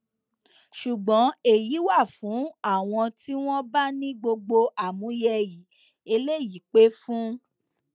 ṣùgbọn èyí wà fún àwọn tí wọn bá ní gbogbo àmúyẹ i eléyìí pẹ fún